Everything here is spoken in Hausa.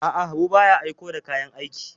A'a, Habu ba ya aiko da kayan aiki.